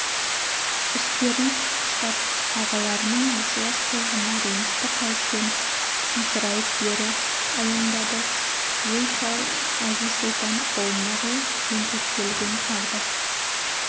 үстерін қаққыштап ағаларының есуас қылығына ренішті қалыппен томсырайып бері аяңдады өй шал әзиз-сұлтан қолындағы жентектелген қарды